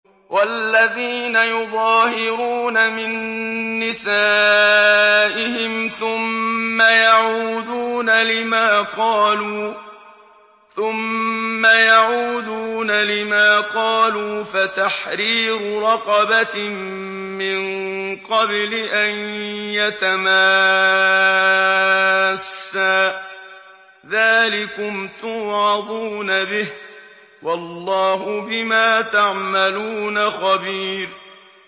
وَالَّذِينَ يُظَاهِرُونَ مِن نِّسَائِهِمْ ثُمَّ يَعُودُونَ لِمَا قَالُوا فَتَحْرِيرُ رَقَبَةٍ مِّن قَبْلِ أَن يَتَمَاسَّا ۚ ذَٰلِكُمْ تُوعَظُونَ بِهِ ۚ وَاللَّهُ بِمَا تَعْمَلُونَ خَبِيرٌ